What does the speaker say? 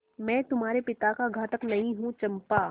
मैं तुम्हारे पिता का घातक नहीं हूँ चंपा